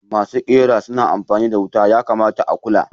Masu ƙera suna amfani da wuta, yakamata a kula.